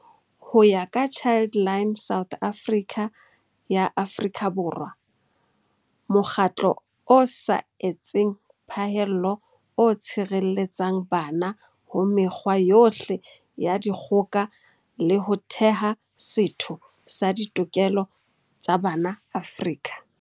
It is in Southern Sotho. Ho ya ka Childline South Africa ya Afrika Borwa, mokgatlo o sa etseng phahello o tshireletsang bana ho mekgwa yohle ya dikgo ka le ho theha setho sa ditokelo tsa bana Afrika.